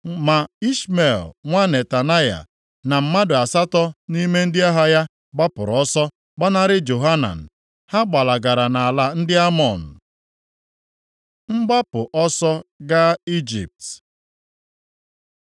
Ma Ishmel nwa Netanaya, na mmadụ asatọ nʼime ndị agha ya, gbapụrụ ọsọ gbanarị Johanan. Ha gbalagara nʼala ndị Amọn. Mgbapụ ọsọ gaa Ijipt